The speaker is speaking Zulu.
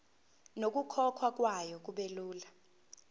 nokukhokhwa kwayo kubelula